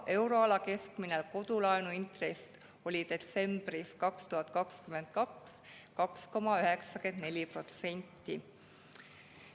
Euroala keskmine kodulaenu intress oli 2022. aasta detsembris 2,94%.